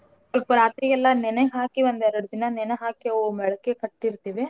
ಸ್ವಲ್ಪರಾತ್ರಿ ಎಲ್ಲಾ ನೆನೆ ಹಾಕಿ ಒಂದೇರ್ಡ್ ದಿನಾ ನೆನ್ಹಾಕಿ ಅವು ಮೇಳಕಿ ಕಟ್ಟಿರ್ತೀವಿ .